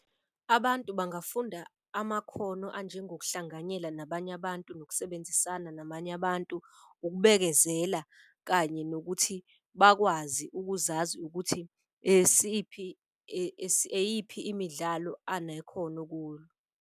Abantu bangafunda amakhono anjengo kuhlanganyela nabanye abantu, nokusebenzisana namanye abantu. Ukubekezela kanye nokuthi bakwazi ukuzazi ukuthi eyiphi imidlalo anekhono kulo.